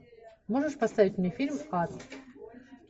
можешь поставить мне фильм ад